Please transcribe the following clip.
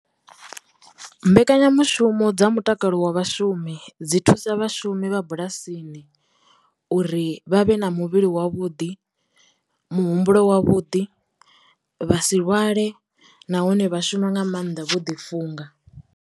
Mbekanyamushumo dza mutakalo wa vhashumi dzi thusa vhashumi vha bulasini uri vha vhe na muvhili wavhuḓi, muhumbulo wa vhuḓi, vha si lwale, nahone vha shuma nga maanḓa vho ḓi funga.